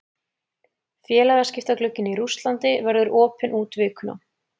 Félagaskiptaglugginn í Rússlandi verður opinn út vikuna.